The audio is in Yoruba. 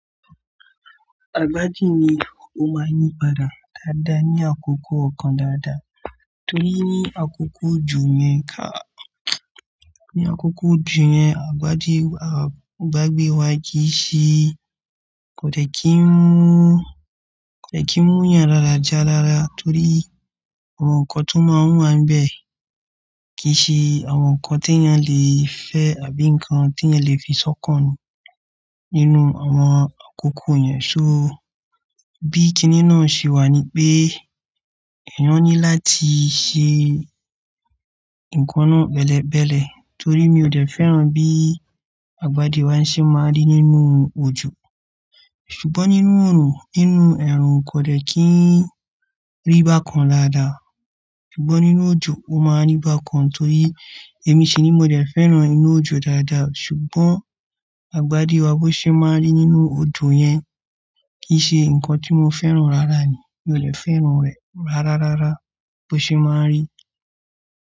Kini ó máa ń yí padà dáadáa ní àkókò kan dáadáa, torí ní àkókò òjò yẹn káa ní àkókò òjò yẹn, àgbádì àgbàgbé kò dè kí ń mú ìyàn ra dàjà rara torí àwọn nǹkan tó máa ń wà níbẹ̀ kì í ṣe àwọn nǹkan tí èèyàn lè fẹ́ e àbí nǹkan tí èèyàn lè fi sọ́kàn ni nínú àwọn àkókò yẹn. So, bí kiní náà ṣe wà ni pé, èèyàn ní láti ṣe nǹkan náà pẹ̀lẹ̀pẹ̀lẹ̀ torí mi ò dẹ́ fẹ́ràn bí àgbàdì wa ṣe máa ń rí nínú òjò. Ṣùgbọ́n nínú ẹ̀rùn, nínú ẹ̀rùn kò lè kí ń rí bákan dáadáa. Ṣùgbọ́n nínú òjò, ó máa ń rí bákan torí èmi ṣiní mo dẹ́ fẹ́ràn inú òjò dáadáa ṣùgbọ́n àgbàdì wa bó ṣe máa ń rí nínú òjò yẹn kì í ṣe nǹkan tí mo fẹ́ràn rárá ni. Mi ò lè fẹ́ràn rẹ̀ rárárárá bó ṣe máa ń rí.